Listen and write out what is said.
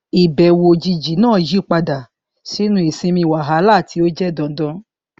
ìbẹwò òjijì náà yí padà sínú ìsinmi wàhálà tí ó jẹ dandan